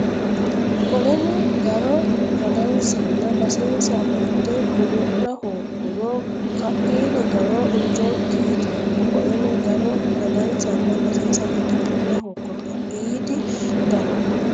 Qoleno garo ragansanna basensa amadde godo la hoogguro ka iidi garo Injokki yitanno Qoleno garo ragansanna basensa amadde godo la hoogguro ka iidi garo.